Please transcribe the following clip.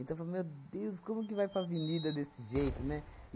Então, eu falei, meu Deus, como que vai para a avenida desse jeito, né?